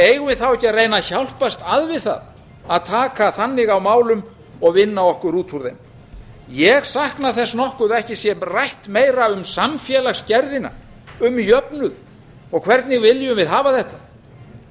eigum við þá ekki að reyna að hjálpast að við það að taka þannig á málum og vinna okkur út úr þeim ég sakna þess nokkuð að ekki sé rætt meira um samfélagsgerðina um jöfnuð og hvernig viljum við hafa þetta